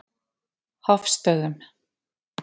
Hofstöðum